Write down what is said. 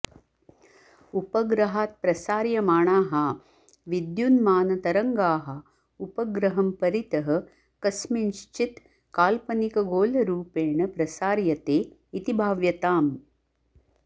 उपग्रहात् प्रसार्यमाणाः विद्युन्मानतरङ्गाः उपग्रहं परितः कस्मिंश्चित् काल्पनिकगोलरूपेण प्रसार्यते इति भाव्यताम्